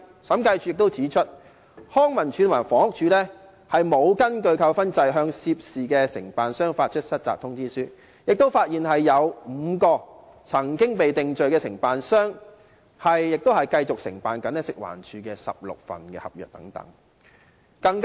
審計署亦指出，康文署和房屋署並無根據扣分制度向涉事承辦商發出失責通知書，亦發現有5名曾經被定罪的承辦商繼續承辦食環署的16份合約。